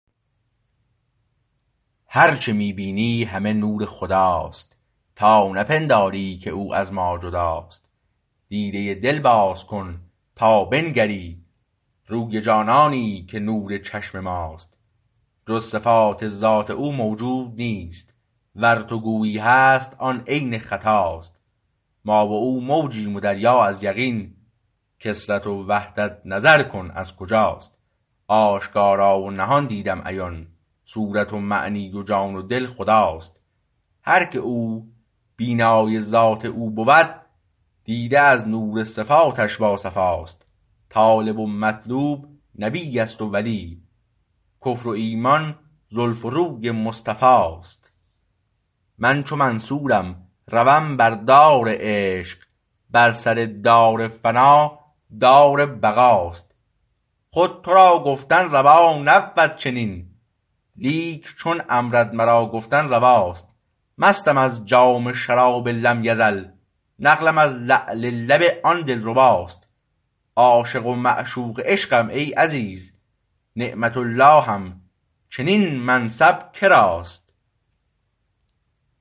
هرچه می بینی همه نور خداست تا نه پنداری که او از ما جداست دیده دل باز کن تا بنگری روی جانانی که نور چشم ماست جز صفات ذات او موجود نیست ور تو گویی هست آن عین خطاست ما و او موجیم و دریا از یقین کثرت و وحدت نظر کن از کجاست آشکارا ونهان دیدم عیان صورت و معنی و جان و دل خداست هر که او بینای ذات او بود دیده از نور صفاتش با صفاست طالب و مطلوب نبی است و ولی کفر و ایمان زلف و روی مصطفاست من چو منصورم روم بر دار عشق بر سردار فنا دار بقاست خود تو را گفتن روا نبود چنین لیک چون امرت مرا گفتن رواست مستم از جام شراب لم یزل نقلم از لعل لب آن دلرباست عاشق و معشوق عشقم ای عزیز نعمت اللهم چنین منصب کراست